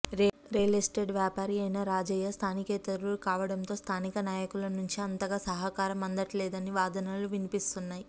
real estate వ్యాపారి అయిన రాజయ్య స్థానికేతరుడు కావడంతో స్థానిక నాయకుల నుంచి అంతగా సహకారం అందట్లేదనే వాదనలూ వినిపిస్తున్నాయి